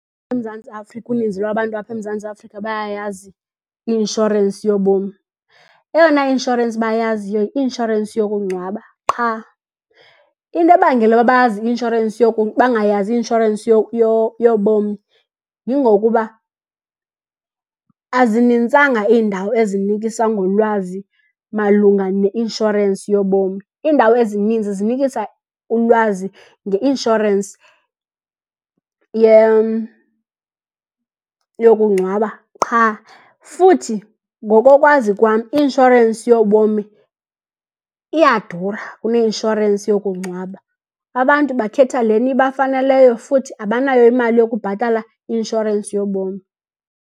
EMzantsi Afrika uninzi lwabantu apha eMzantsi Afrika bayayazi i-inshorensi yobomi. Eyona i-inshorensi bayaziyo yi-inshorensi yokungcwaba qha. Into ebangela uba bazi bangayazi i-inshorensi yobomi yingokuba azinintsanga iindawo ezinikisa ngolwazi malunga ne-inshorensi yobomi. Iindawo ezininzi zinikisa ulwazi nge-inshorensi yokungcwaba qha. Futhi ngokokwazi kwam i-inshorensi yobomi iyadura kune-inshorensi yokungcwaba. Abantu bakhetha lena ibafanele leyo futhi abanayo imali yokubhatala i-insurance yobomi.